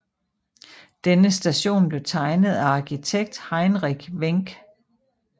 Henne station blev tegnet af arkitekt Heinrich Wenck